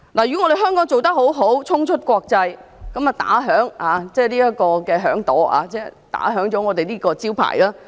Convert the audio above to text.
如果在香港做得好，便衝出國際，這可擦亮這個招牌。